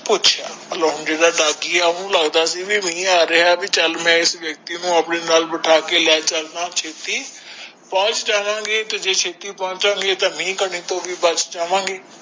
ਪੁੱਛਿਆ ਡਾਕੀਆ ਓਹਨੂੰ ਲਗਦਾ ਸੀ ਮਿਹ ਆ ਰਿਹਾ ਆ ਵੀ ਚੱਲ ਮੈਂ ਇਸ ਵਿਅਕਤੀ ਨੂੰ ਅਪਣੇ ਨਾਲ ਬਿਠਾ ਕੇ ਲੈ ਚਲਦਾ ਛੇਤੀ ਪਹੁੰਚ ਜਾਵਾਂਗੇ ਜੇ ਛੇਤੀ ਨੀ ਪੋਨਚਾਂਗੇ ਤਾ ਮਿਹ ਕਣੀ ਤੋਂ ਵੀ ਬਚ ਜਾਵਾਂਗੇ